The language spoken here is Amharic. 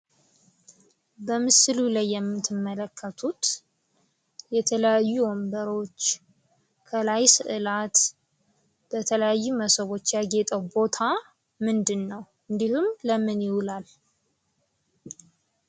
በምስሉ ላይ የምትመለከቱት የተለያዩ ወንበሮች ከላይ ስዕላት በተለያዩ ሞሰቦች የጌጠ ቦታ ምንድነው እንዲሁም ለምን ይውላል?